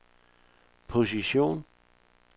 position